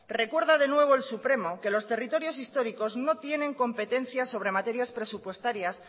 recuerda de nuevo el supremo que los territorios históricos no tienen competencias sobre materias presupuestarias